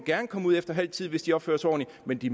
komme ud efter halv tid hvis de opfører sig ordentligt men de